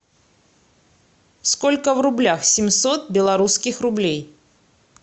сколько в рублях семьсот белорусских рублей